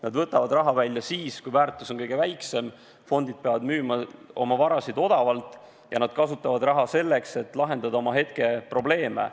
Nad võtavad raha välja siis, kui väärtus on kõige väiksem, sest fondid peavad müüma oma vara odavalt, ja nad kasutavad raha selleks, et lahendada oma hetkeprobleeme.